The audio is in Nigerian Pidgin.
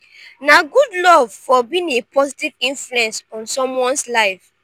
na good love for being a positive influence on someone's life.